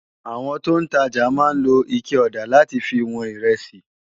Awòn tó n tàjá má n ló iké òdá làtí fi wòn irèsí